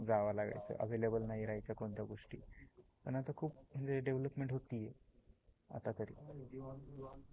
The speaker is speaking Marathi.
शहराकडे जाव लागायचं अवेलेबल नाही राहायच्या कोणत्या गोष्टी पण आता खुप डेवलपमेंट होती आहे.